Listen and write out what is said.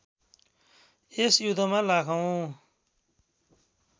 यस युद्धमा लाखौँ